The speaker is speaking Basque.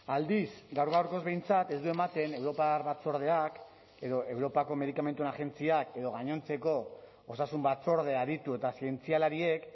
aldiz gaur gaurkoz behintzat ez du ematen europar batzordeak edo europako medikamentuen agentziak edo gainontzeko osasun batzorde aditu eta zientzialariek